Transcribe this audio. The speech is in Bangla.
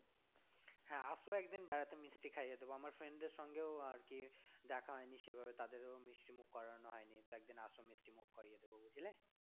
হ্যাঁ আসো একদিন বেড়াতে মিষ্টি খাইয়ে দেবো আমার friend দের সঙ্গেও আরকি দেখা হয়নি সেভাবে তাদের মিষ্টিমুখ করানো হয়নি তো একদিন আসো মিষ্টিমুখ করিয়ে দেবো বুঝলে।